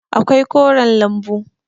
akwai koren lambu